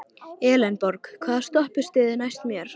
Elenborg, hvaða stoppistöð er næst mér?